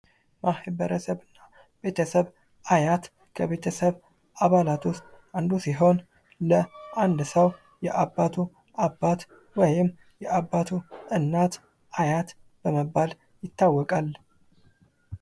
ማህበረሰብ ቤተሰብ አያት ከቤተሰብ አባላት ዉስጥ አንዱ ሲሆን ለአንድ ሰዉ የአባቱ አባት ወይም አባቱ የእናቱ አያት በመባል ይታወቃል።